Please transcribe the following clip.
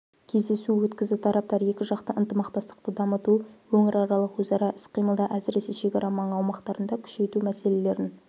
кездесу өткізді тараптар екіжақты ынтымақтастықты дамыту өңіраралық өзара іс-қимылды әсіресе шекара маңы аумақтарында күшейту мәселелерін